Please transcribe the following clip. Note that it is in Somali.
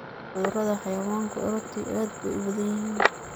Cudurada xayawaanku runtii aad bay u badan yihiin.